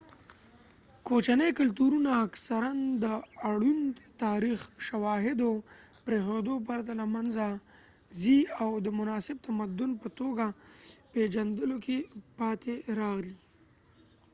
کوچني کلتورونه اکثراً د اړوند تاریخي شواهدو پریښودو پرته له منځه ځي او د مناسب تمدن په توګه پیژندلو کې پاتې راغلي